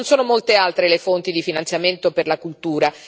Non sono molte altre le fonti di finanziamento per la cultura.